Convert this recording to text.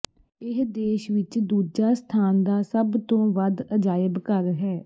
ਇਹ ਦੇਸ਼ ਵਿੱਚ ਦੂਜਾ ਸਥਾਨ ਦਾ ਸਭ ਤੋਂ ਵੱਧ ਅਜਾਇਬ ਘਰ ਹੈ